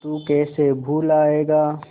तू कैसे भूलाएगा